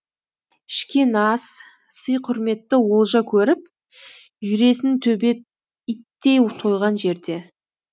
ішкен ас сый құрметті олжа көріп жүресің төбет иттей тойған жерде